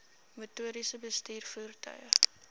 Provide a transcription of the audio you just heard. motoriste bestuur voertuie